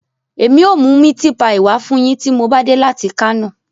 Emi o mu miti paii wa fun yin ti mo ba de lati Kano